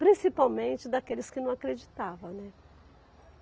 Principalmente daqueles que não acreditavam, né?